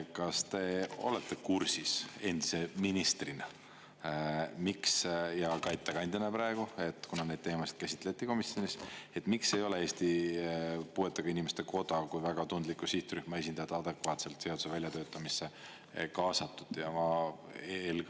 Kas te olete kursis endise ministrina ja ka ettekandjana praegu, kuna neid teemasid käsitleti komisjonis, miks ei ole Eesti Puuetega Inimeste Koda kui väga tundliku sihtrühma esindajat adekvaatselt seaduse väljatöötamisse kaasatud?